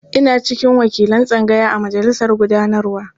Ina cikin wakilan tsangaya a majalisar gudanarwa.